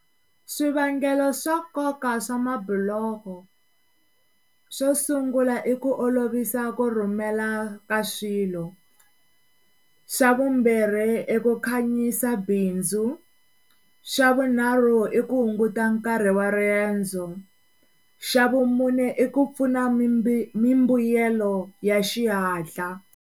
Swivangelo swo nkoka swa mabiloho swo sungula i ku olovisa ku rhumela ka swilo, xa vumbirhi iku khanyisa bindzu, xa vunharhu iku hunguta nkarhi wa riendzo, xa vumune iku pfuna mimbuyelo ya xihatla.